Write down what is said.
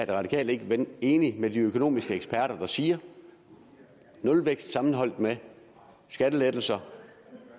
radikale ikke enige med de økonomiske eksperter der siger at nulvækst sammenholdt med skattelettelser